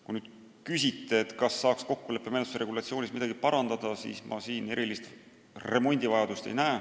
Kui te küsite, kas saaks kokkuleppemenetluse regulatsioonis midagi parandada, siis mina erilist remondivajadust ei näe.